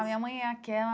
A minha mãe é aquela...